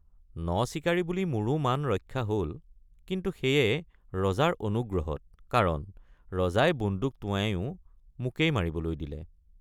নচিকাৰী বুলি মোৰো মান ৰক্ষা হল কিন্তু সেয়ে ৰজাৰ অনুগ্ৰহত কাৰণ ৰজাই বন্দুক টোঁৱায়ো মোকেই মাৰিবলৈ দিলে।